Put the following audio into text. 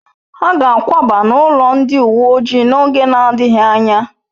Ha ga akwaba n'ụlọ ndị uwe ojii n'oge na-adịghị anya